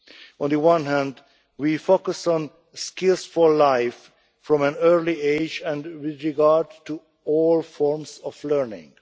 On the one hand, we focus on skills for life from an early age and with regard to all forms of learning.